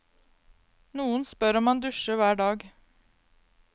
Noen spør om han dusjer hver dag.